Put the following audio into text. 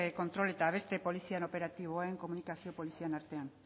kontrol eta beste polizien operatiboen komunikazio polizien artean